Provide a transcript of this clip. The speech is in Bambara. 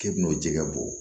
K'e bin'o jɛgɛ bɔ